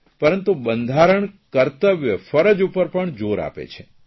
પરંતુ બંધારણ કર્તવ્ય ફરજ ઉપર પણ જોર આપે છે